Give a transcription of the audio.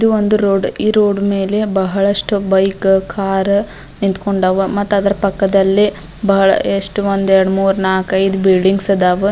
ಇದು ಒಂದು ರೋಡ್ ಈ ರೋಡ್ ಮೇಲೆ ಬಹಳಷ್ಟು ಬೈಕ್ ಕಾರ್ ನಿಂತ್ಕೊಂಡಾವ ಮತ್ತ್ ಅದರ ಪಕ್ಕದಲ್ಲಿ ಬಹಳ ಎಷ್ಟು ಒಂದ್ ಎರಡು ಮೂರು ನಾಕ್ ಐದ್ ಬಿಲ್ಡಿಂಗ್ಸ್ ಇದಾವ .